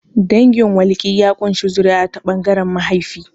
Dangin walki ya ƙunshi zuri'a ta ɓangaren mahaifi.